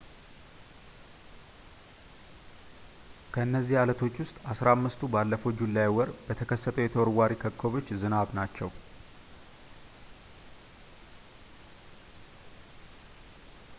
ከእነዚህ ዓለቶች ውስጥ አሥራ አምስቱ ባለፈው ጁላይ ወር ከተከሰተው የተወርዋሪ ኮከቦች ዝናብ ናቸው